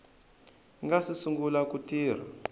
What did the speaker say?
nga si sungula ku tirha